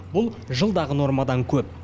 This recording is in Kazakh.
бұл жылдағы нормадан көп